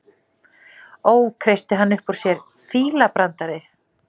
Ó, kreisti hann upp úr sér, fílabrandari